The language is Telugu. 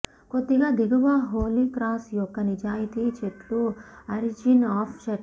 కొద్దిగా దిగువ హోలీ క్రాస్ యొక్క నిజాయితీ చెట్లు ఆరిజిన్ ఆఫ్ చర్చి